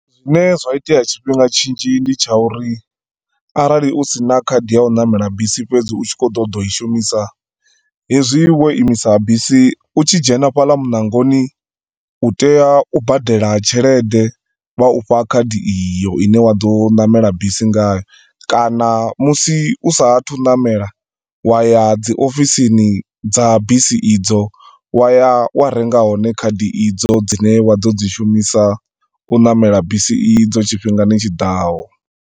Zwine zwa itea tshifhinga tshinzhi ndi tsha uri, arali u sina khadi ya u ṋamela bisi fhedzi u tshi khou ṱoḓa u i shumisa, hezwi wo imisa bisi, u tshi dzhena fhaḽa muṋangoni, u tea u badela tshelede, vha u fha khadi iyo ine wa do ṋamela bisi ngayo. Kana musi usa athu u ṋamela, wa ya dzi ofisini dza bisi i dzo, waya wa renga hone khadi i dzo dzine wa ḓo dzi shumisa u ṋamela bisi i dzo tshifhingani tshiḓaho.